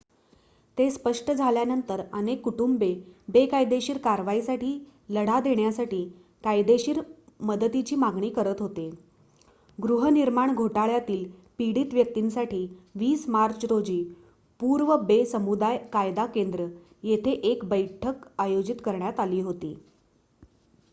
ते स्पष्ट झाल्यानंतर अनेक कुटुंबे बेकायदेशीर कारवाईसाठी लढा देण्यासाठी कायदेशीर मदतीची मागणी करत होते गृहनिर्माण घोटाळ्यातील पीडित व्यक्तींसाठी 20 मार्च रोजी पूर्व बे समुदाय कायदा केंद्र येथे एक बैठक आयोजित करण्यात आली होती